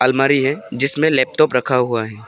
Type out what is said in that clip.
अलमारी है जिसमें लेपटॉप रखा हुआ है।